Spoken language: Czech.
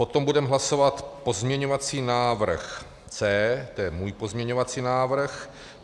Potom budeme hlasovat pozměňovací návrh C, to je můj pozměňovací návrh.